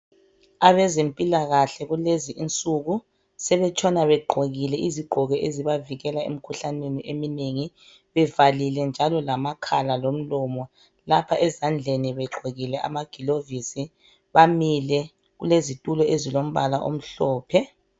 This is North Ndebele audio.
Abezempilakahle kulezi insuku sebetshona begqokile izigqoko ezibavikela emikhuhlaneni eminengi bevalile njalo lamakhala lomlomo lapha ezandleni begqokile amagilovisi bamile kulezitulo ezilombala omhlophe.